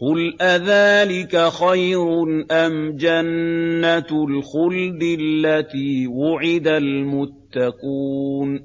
قُلْ أَذَٰلِكَ خَيْرٌ أَمْ جَنَّةُ الْخُلْدِ الَّتِي وُعِدَ الْمُتَّقُونَ ۚ